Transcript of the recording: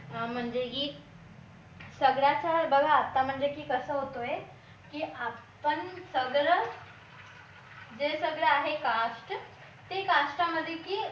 म्हणजे की सगळ्याचा बघा आता म्हणजे की कसं होतं की आपण सगळं जे सगळे आहे cast ते cast मध्ये की म्हणजे की